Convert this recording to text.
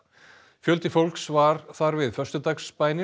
fjöldi fólks var þar við